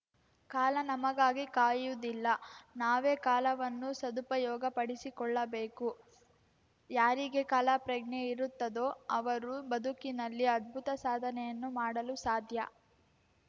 ಕಾಲ ನಮಗಾಗಿ ಕಾಯುವುದಿಲ್ಲ ನಾವೇ ಕಾಲವನ್ನು ಸದುಪಯೋಗಪಡಿಸಿಕೊಳ್ಳಬೇಕು ಯಾರಿಗೆ ಕಾಲಪ್ರಜ್ಞೆ ಇರುತ್ತದೋ ಅವರು ಬದುಕಿನಲ್ಲಿ ಅದ್ಭುತ ಸಾಧನೆಯನ್ನು ಮಾಡಲು ಸಾಧ್ಯ